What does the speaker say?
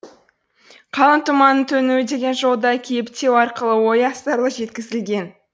қалың тұманның төнуі деген жолда кейіптеу арқылы ой астарлы жеткізілген